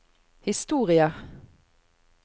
historie